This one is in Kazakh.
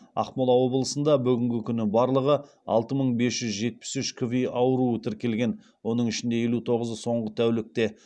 ақмола облысында бүгінгі күні барлығы алты мың бес жүз жетпіс үш кви ауруы тіркелген оның ішінде елу тоғызы соңғы тәулікте